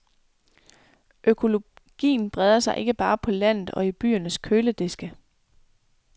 Økologien breder sig ikke bare på landet og i byernes kølediske.